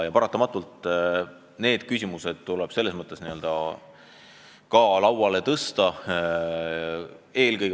Ja need küsimused tuleb paratamatult ka lauale tõsta.